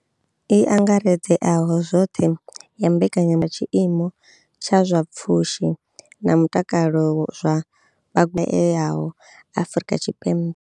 I angaredzeaho zwoṱhe ya mbekanya ya tshiimo tsha zwa pfushi na mutakalo zwa vha shayaho Afrika Tshipembe.